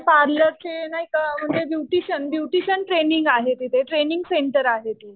पार्लरचे नाही का म्हणजे ब्युटिशियन. ब्युटिशियन ट्रेनिंग आहे तिथे. ब्युटिशियन ट्रेनिंग सेंटर आहे.